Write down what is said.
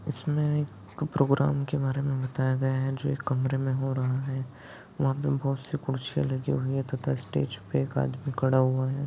इसमे एक प्रोग्राम के बारे मे बताया गया है जो एक कमरे मे हो रहा है वहा पे बहुत सी कुर्सिया लगी हुई है तथा स्टेज पे एक आदमी खड़ा हुआ है।